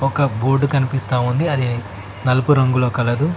ఒక బోర్డు కనిపిస్తా ఉంది అది నలుపు రంగులో కలదు.